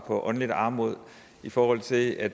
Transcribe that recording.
åndelig armod i forhold til at